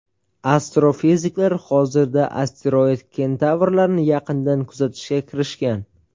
Astrofiziklar hozirda asteroid-kentavrlarni yaqindan kuzatishga kirishgan.